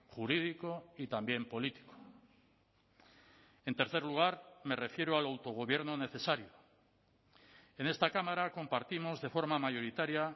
jurídico y también político en tercer lugar me refiero al autogobierno necesario en esta cámara compartimos de forma mayoritaria